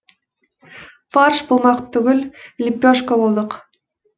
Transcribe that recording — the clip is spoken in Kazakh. фарш болмақ түгіл лепешка болдық